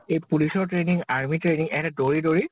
এই police ৰ training army ৰ training, এনেই দৌৰি দৌৰি